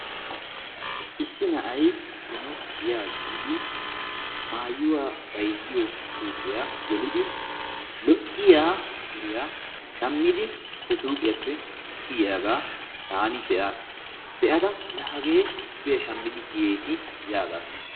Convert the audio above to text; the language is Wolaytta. Issi na'ay zino giyaa biidi maayuwa bayzziyo suyqiya gelidi lo"iya suriya shammidi he suuqiyappe kiyiyagaa taani be'aas. Be'ada laa hagee suriya shammidi kiyeesi yaagaas.